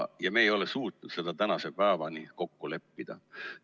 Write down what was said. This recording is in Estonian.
Ja me ei ole suutnud seda tänase päevani kokku leppida.